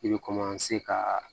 I bɛ ka